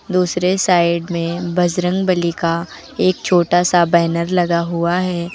दूसरे साइड में बजरंगबली का एक छोटा सा बैनर लगा हुआ है।